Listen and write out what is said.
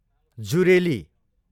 जुरेली